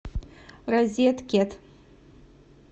розеткед